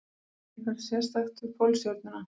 Er eitthvað sérstakt við Pólstjörnuna?